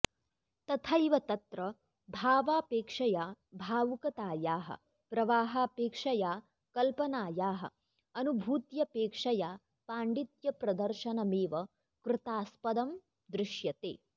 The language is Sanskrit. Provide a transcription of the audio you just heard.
तथैव तत्र भावापेक्षया भावुकतायाः प्रवाहापेक्षया कल्पनायाः अनुभूत्यपेक्षया पाण्डित्यप्रदर्शनमेव कृतास्पदं दृश्यते